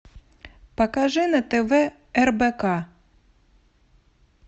покажи на тв рбк